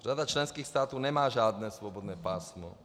Řada členských států nemá žádné svobodné pásmo.